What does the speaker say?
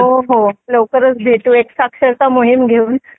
हो लवकरच भेटू एक साक्षरता मोहीम घेऊन